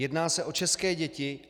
Jedná se o české děti.